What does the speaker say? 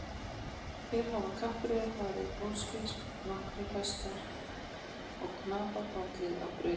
Hér hafa kappreiðar farið úrskeiðis og nokkrir hestar og knapar fallið á brautinni.